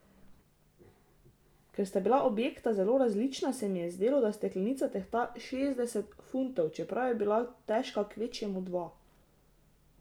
Ker sta bila objekta zelo različna, se mi je zdelo, da steklenica tehta šestdeset funtov, čeprav je bila težka kvečjemu dva.